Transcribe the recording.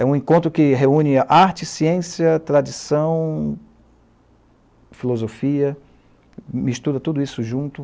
É um encontro que reúne arte, ciência, tradição, filosofia, mistura tudo isso junto.